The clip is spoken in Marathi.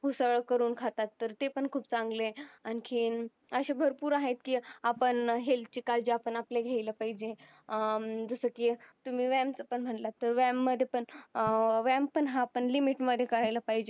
ऊसळ करून खातात तर ते पण खूप चांगलं ये आणखीन अशे भरपूर आहेत की आपण health ची काळजी आपण आपल्या घ्यायला पाहिजे अं जस की तुम्ही व्यायाम चा पण म्हणालात तर व्यायाम मध्ये पण अह व्यायाम पण हा पण limit मध्ये करायला पाहिजे